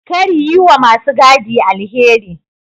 Kar yi wa ma su gadin alheri.